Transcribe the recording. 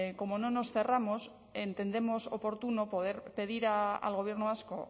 como no nos cerramos entendemos oportuno poder pedir al gobierno vasco